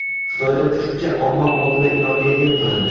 Xitoyda kuchukcha omma oldida ilonga yem qilindi.